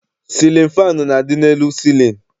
Sịlịn faanụ na-adị n'elu cịlịn.